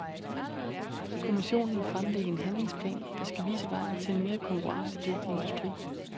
Kommissionen vil fremlægge en handlingsplan, der skal vise vejen til en mere konkurrencedygtig industri.